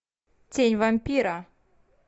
тень вампира